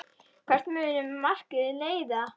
Hvert mun það markmið leiða?